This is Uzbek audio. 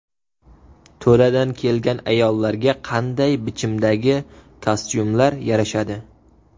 To‘ladan kelgan ayollarga qanday bichimdagi kostyumlar yarashadi?